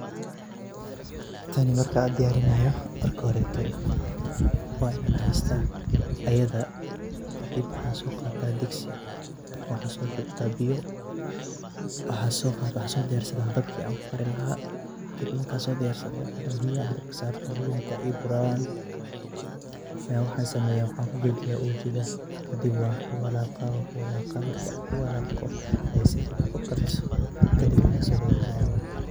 tani markaa diyaarinaayo marka hore wa inaan heysta iyada kadhib waxaa soo qaadana digsi , waxaan soo shubta biyo , waxaan soo shubana dabkii aan ku karin lahaay kadhib markaan soo diyaarsado ayaan biyaha dabka biyaha saarana biyaha marka ay ii buraan ayaan ku shuba uujida kadhib ayaan ku waalaaqa ay si fcn u karto ayaan ka dajina